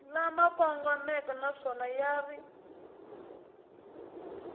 lama kongomeke naswona ya ri